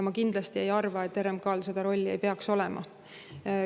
Ma kindlasti ei arva, et RMK-l seda rolli ei peaks olema.